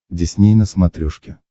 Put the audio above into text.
дисней на смотрешке